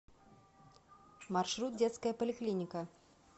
маршрут детская поликлиника